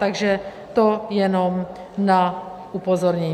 Takže to jenom na upozornění.